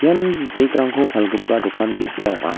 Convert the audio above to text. ian bag-rangko palgipa dokan ge·sa ong·a.